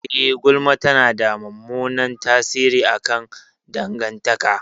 Eh, gulma tana da mummunan tasiri akan dangantaka.